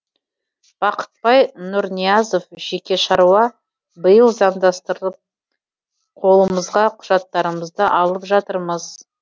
бақтыбай нұрниязов жеке шаруа биыл заңдастырып қолымызға құжаттарымызды алып жатырмыз